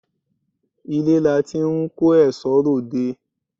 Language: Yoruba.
Ilé láti n kó èsó rẹ òde